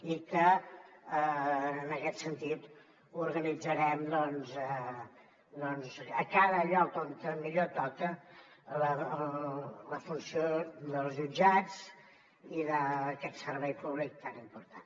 i en aquest sentit organitzarem doncs a cada lloc on millor toca la funció dels jutjats i d’aquest servei públic tan important